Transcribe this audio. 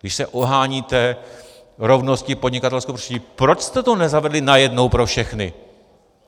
Když se oháníte rovností podnikatelského prostředí, proč jste to nezavedli najednou pro všechny?